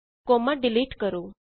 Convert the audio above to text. comma delete ਕਰੋ